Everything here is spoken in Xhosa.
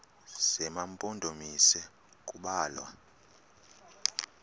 zema mpondomise kubalwa